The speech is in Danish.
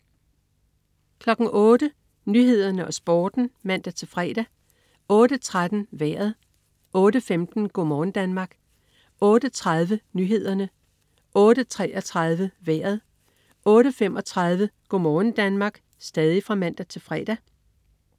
08.00 Nyhederne og Sporten (man-fre) 08.13 Vejret (man-fre) 08.15 Go' morgen Danmark (man-fre) 08.30 Nyhederne (man-fre) 08.33 Vejret (man-fre) 08.35 Go' morgen Danmark (man-fre)